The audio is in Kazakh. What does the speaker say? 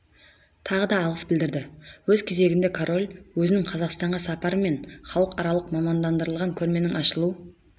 тағы да алғыс білдірді өз кезегінде король өзінің қазақстанға сапары мен халықаралық мамандандырылған көрменің ашылу